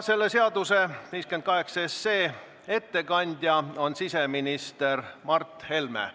Selle seaduseelnõu ettekandja on siseminister Mart Helme.